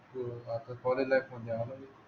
होय, college life